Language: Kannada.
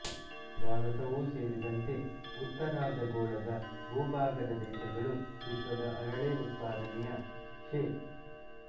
ಭಾರತವೂ ಸೇರಿದಂತೆ ಉತ್ತರಾರ್ಧ ಗೋಳದ ಭೂಭಾಗದ ದೇಶಗಳು ವಿಶ್ವದ ಅರಳೆ ಉತ್ಪಾದನೆಯ ಶೇ